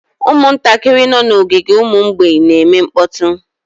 Ụmụntakịrị nọ n'ogige ụmụ mgbei na-eme mkpọtụ